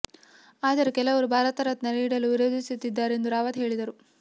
ಆದರೆ ಕೆಲವರು ಭಾರತ ರತ್ನ ನೀಡಲು ವಿರೋಧಿಸುತ್ತಿದ್ದಾರೆ ಎಂದು ರಾವತ್ ಹೇಳಿದರು